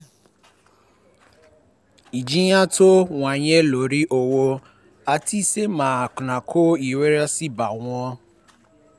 ìjìyà tó um wáyé lórí owó àti iṣẹ́ máa ń kó ìrẹ̀wẹ̀sì bá wọn